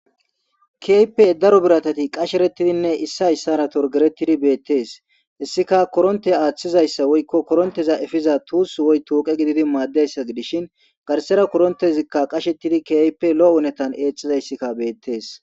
kiape daro biratati qasherettidinne issi hayssara torgeretidi beettees hissika koronte aaththizayssa woykko koronteza efiza tuus woy tooqe gididi maaddeyssa gidishin garsera korontezikka qashettidi kiyape lo'o unetan eexxizayssika beettees.